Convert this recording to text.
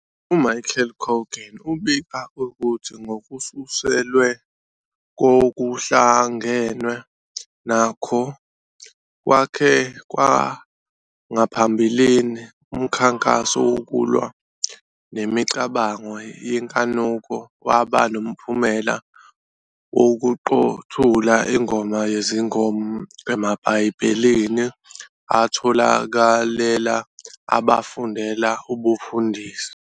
UMichael Coogan ubika ukuthi, ngokususelwe kokuhlangenwe nakho kwakhe kwangaphambilini, umkhankaso wokulwa nemicabango yenkanuko waba nomphumela wokuqothula iNgoma Yezingoma emaBhayibhelini atholakalela abafundela ubufundisi.